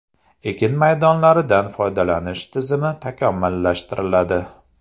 Ekin maydonlaridan foydalanish tizimi takomillashtiriladi.